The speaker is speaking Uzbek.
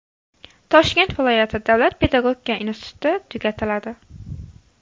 Toshkent viloyati davlat pedagogika instituti tugatiladi.